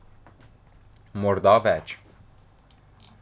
Morda več.